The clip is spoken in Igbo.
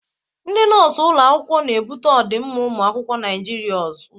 Ndị nọọsụ ụlọ akwụkwọ na-ebute ọdịmma ụmụ akwụkwọ Naịjiria ụzọ.